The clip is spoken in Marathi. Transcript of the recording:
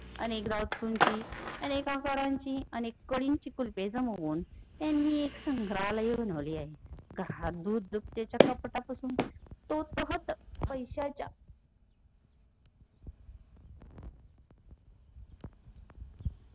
अनेक वस्तुची अनेक आकाराची अनेक कडीची कुलुपे जमवुन त्यांनी एक संग्रालय बनवले आहे हातधुपत्याच्या कपाटापासून तो तहत पैशाच्या